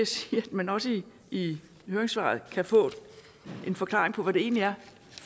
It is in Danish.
sige at man også i høringssvaret kan få en forklaring på hvad det egentlig er